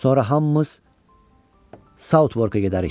Sonra hamımız Southwark-a gedərik.